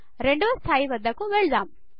రెండవ 2 స్థాయి వద్దకు వెళ్ళుదాము